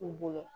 U bolo